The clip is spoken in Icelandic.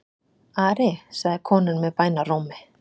Ari, sagði konan með bænarrómi.